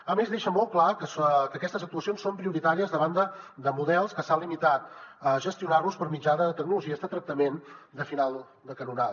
a més deixa molt clar que aquestes actuacions són prioritàries de banda models que s’han limitat a gestionar los per mitjà de tecnologies de tractament de final de canonada